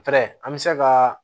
an bɛ se ka